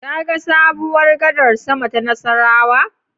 Kaga sabuwar gadar sama ta Nassarawa?